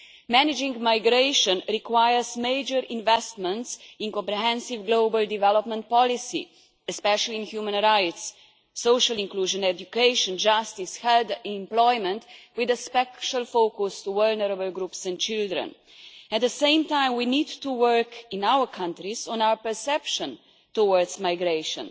Managing migration requires major investment in comprehensive global development policy, especially in human rights, social inclusion, education, justice, health and employment, with a special focus on vulnerable groups and children. At the same time, we need to work in our countries on our perception of migration.